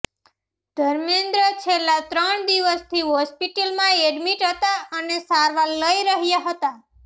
ધર્મેન્દ્ર છેલ્લા ત્રણ દિવસથી હોસ્પિટલમાં એડમિટ હતા અને સારવાર લઇ રહ્યા હતા